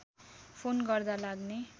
phone गर्दा लाग्ने